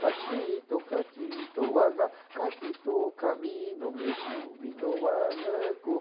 Catito, catito, agá, catito, camino, megume, no agaco.